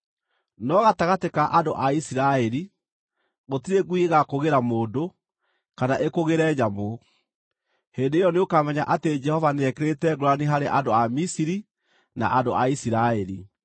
No gatagatĩ ka andũ a Isiraeli, gũtirĩ ngui ĩgaakũgĩra mũndũ, kana ĩkũgĩre nyamũ.’ Hĩndĩ ĩyo nĩũkamenya atĩ Jehova nĩekĩrĩte ngũũrani harĩ andũ a Misiri na andũ a Isiraeli.